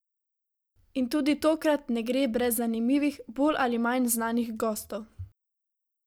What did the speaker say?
In tudi tokrat ne gre brez zanimivih, bolj ali manj znanih gostov.